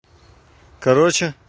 короче